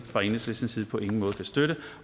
fra enhedslistens side på ingen måde kan støtte